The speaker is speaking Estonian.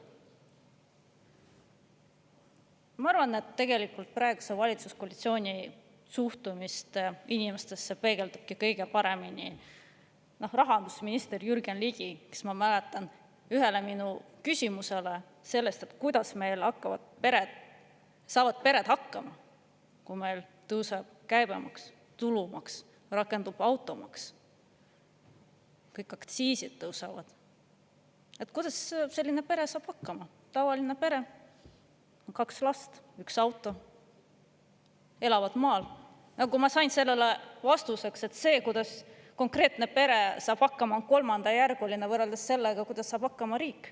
Ma arvan, et tegelikult praeguse valitsuskoalitsiooni suhtumist inimestesse peegeldabki kõige paremini rahandusminister Jürgen Ligi, kellelt, ma mäletan, ühele küsimusele – kuidas meil saavad pered hakkama, kui meil tõuseb käibemaks, tulumaks, rakendub automaks ja kõik aktsiisid tõusevad; kuidas saab hakkama tavaline pere, kaks last, üks auto, elukoht maal – ma sain vastuseks, et see, kuidas konkreetne pere saab hakkama, on kolmandajärguline võrreldes sellega, kuidas saab hakkama riik.